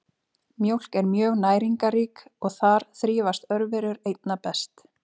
Mjólk er mjög næringarrík og þar þrífast örverur einna best.